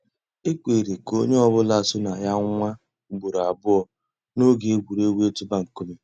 É kwèré kà ónyé ọ̀ bụ́là só nà yà nwáá ùgbòró àbụ́ọ́ n'óge ègwùrégwú ị̀tụ́bà nkúmé.